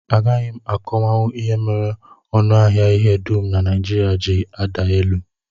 Agaghị m akọwanwu ihe mere ọnụahịa ihe dum na Naijiria ji ada elu